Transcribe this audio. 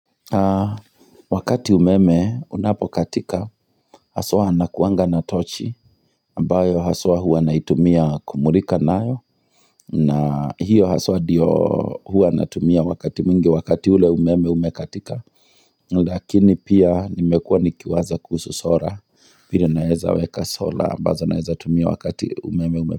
Wakati umeme unapokatika haswa nakuanga na tochi ambayo haswa huwa naitumia kumulika nayo na hiyo haswa ndio huwa natumia wakati mingi wakati ule umeme umekatika lakini pia nimekuwa nikiwaza kuhusu sola vile naweza weka sola ambazo naeza tumia wakati umeme ume.